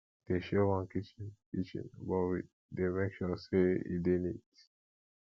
we dey share one kitchen kitchen but we dey make sure sey e dey neat